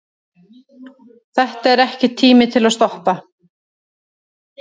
Þetta er ekki tími til að stoppa.